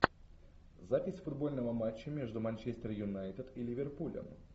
запись футбольного матча между манчестер юнайтед и ливерпулем